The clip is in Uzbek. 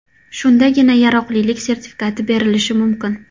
Shundagina yaroqlilik sertifikati berilishi mumkin.